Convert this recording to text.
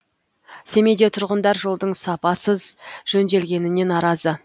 семейде тұрғындар жолдың сапасыз жөнделгеніне наразы